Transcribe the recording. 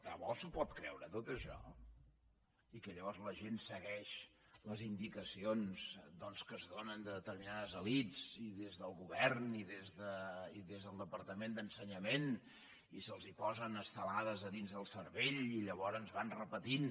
de debò s’ho pot creure tot això i que llavors la gent segueix les indicacions que es donen de determinades elits i des del govern i des del departament d’ensenyament i se’ls posen estelades dins del cervell i llavors van repetint